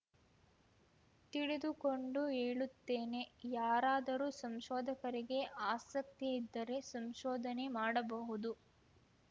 ತಿಳಿದುಕೊಂಡು ಹೇಳುತ್ತೇನೆ ಯಾರಾದರೂ ಸಂಶೋಧಕರಿಗೆ ಆಸಕ್ತಿಯಿದ್ದರೆ ಸಂಶೋಧನೆ ಮಾಡಬಹುದು